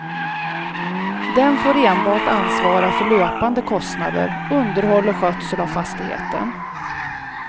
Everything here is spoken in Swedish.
Den får enbart ansvara för löpande kostnader, underhåll och skötsel av fastigheten.